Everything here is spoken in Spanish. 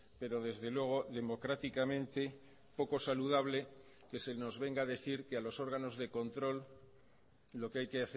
pero desde luego democráticamente poco saludable que se nos venga a decir que a los órganos de control lo que hay que